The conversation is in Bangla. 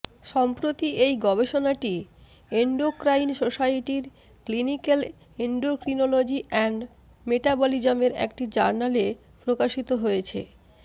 সম্প্রতি এই গবেষণাটি এন্ডোক্রাইন সোসাইটির ক্লিনিক্যাল এন্ডোক্রিনোলজি অ্যান্ড মেটাবলিজমের একটি জার্নালে প্রকাশিত হয়েছে